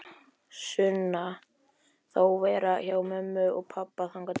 Sunna: Þá vera hjá mömmu og pabba þangað til?